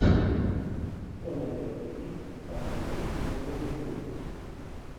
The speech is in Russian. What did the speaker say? что найдется из с актрисой пенелопой крус